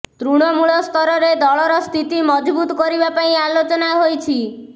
ତୃଣମୂଳ ସ୍ତରରେ ଦଳର ସ୍ଥିତି ମଜଭୁତ କରିବା ପାଇଁ ଆଲୋଚନା ହୋଇଛି